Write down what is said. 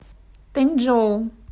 тэнчжоу